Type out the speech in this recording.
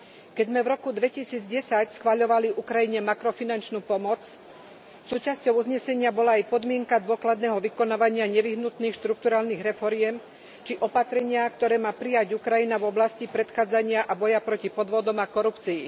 Keď sme v roku 2010 schvaľovali Ukrajine makrofinančnú pomoc, súčasťou uznesenia bola aj podmienka dôkladného vykonávania nevyhnutných štrukturálnych reforiem či opatrenia, ktoré má prijať Ukrajina v oblasti predchádzania a boja proti podvodom a korupcii.